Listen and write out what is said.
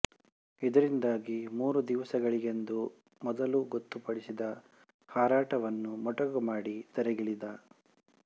ಇದರಿಂದಾಗಿ ಮೂರು ದಿವಸಗಳಿಗೆಂದು ಮೊದಲು ಗೊತ್ತುಪಡಿಸಿದ್ದ ಹಾರಾಟವನ್ನು ಮೊಟಕುಮಾಡಿ ಧರೆಗಿಳಿದ